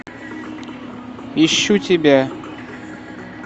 ищу тебя